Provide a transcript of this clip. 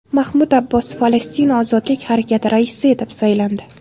Mahmud Abbos Falastin ozodlik harakati raisi etib saylandi.